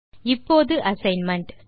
இப்போது அசைன்மென்ட்